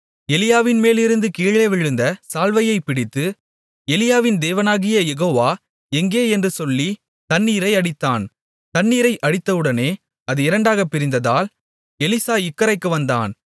எலியாவின்மேலிருந்து கீழே விழுந்த சால்வையைப் பிடித்து எலியாவின் தேவனாகிய யெகோவா எங்கே என்று சொல்லித் தண்ணீரை அடித்தான் தண்ணீரை அடித்தவுடனே அது இரண்டாகப் பிரிந்ததால் எலிசா இக்கரைக்கு வந்தான்